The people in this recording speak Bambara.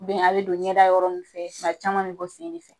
a bɛ don ɲɛda yɔrɔ ninnu fɛ tuma caman a bɛ bɔ sen de fɛ .